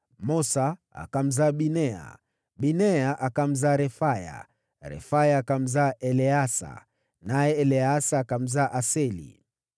Mosa akamzaa Binea, Binea akamzaa Refaya, na mwanawe huyo ni Eleasa, na mwanawe huyo ni Aseli.